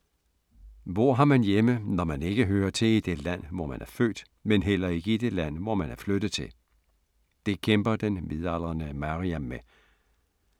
Hvor har man hjemme, når man ikke hører til i det land, hvor man er født, men heller ikke i det land, hvor man er flyttet til? Det kæmper den midaldrende Maryam med.